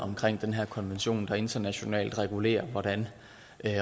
i her konvention der internationalt regulerer hvordan